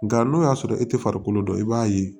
Nka n'o y'a sɔrɔ e tɛ farikolo dɔn i b'a ye